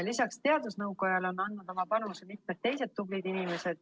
Lisaks teadusnõukojale on oma panuse andnud mitmed teised tublid inimesed.